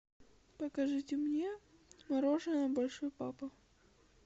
покажите мне мороженное большой папа